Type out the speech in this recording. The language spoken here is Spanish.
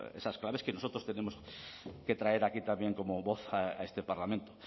esas claves que nosotros tenemos que traer aquí también como voz a este parlamento